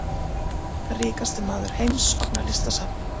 Ríkasti maður heims opnar listasafn